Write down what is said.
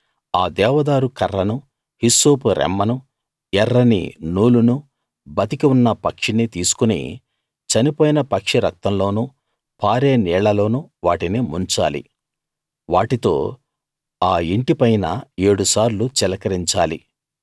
ఆ దేవదారు కర్రనూ హిస్సోపు రెమ్మనూ ఎర్రని నూలునూ బతికి ఉన్న పక్షినీ తీసుకుని చనిపోయిన పక్షి రక్తంలోనూ పారే నీళ్ళలోనూ వాటిని ముంచాలి వాటితో ఆ ఇంటిపైన ఏడు సార్లు చిలకరించాలి